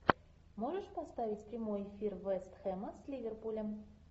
можешь поставить прямой эфир вест хэма с ливерпулем